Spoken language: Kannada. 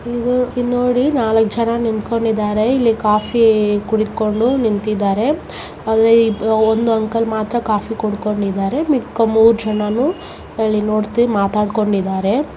ಇಲ್ಲಿ ನೋಡಿ ನಾಲ್ಕ್ ಜನ ನಿಂತ್ಕೊಂಡಿದರೆ ಇಲ್ಲಿ ಕಾಫಿ ಕುಡಿಡ್ಕೊಂಡು ನಿಂತಿದ್ದಾರೆ ಅಲ್ಲಿ ಒಂದು ಅಂಕಲ್ ಮಾತ್ರಾ ಕಾಫಿ ಕುಡ್ಕೊಂಡಿದಾರೆ ಮಿಕ್ಕ ಮೂರ್ ಜನಾನು ಅಲ್ಲಿ ನೋಡ್ತ್ರಿ ಮಾತಡ್ಕೊಂಡಿದ್ದಾರೆ.